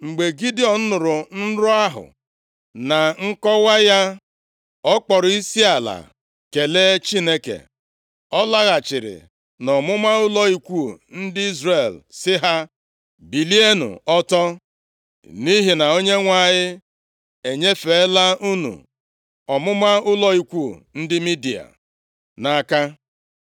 Mgbe Gidiọn nụrụ nrọ ahụ, na nkọwa ya, ọ kpọrọ isiala kelee Chineke. Ọ laghachiri na ọmụma ụlọ ikwu ndị Izrel sị ha, “Bilienụ ọtọ! Nʼihi na Onyenwe anyị enyefeela unu ọmụma ụlọ ikwu ndị Midia nʼaka.”